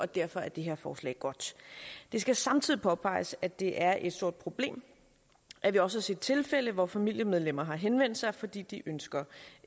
derfor er det her forslag godt det skal samtidig påpeges at det er et stort problem at vi også har set tilfælde hvor familiemedlemmer har henvendt sig fordi de ønsker